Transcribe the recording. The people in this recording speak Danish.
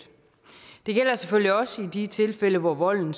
det gælder selvfølgelig også i de tilfælde hvor volden